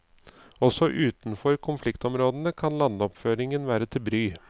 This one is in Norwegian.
Også utenfor konfliktområdene kan landoppføringen være til bry.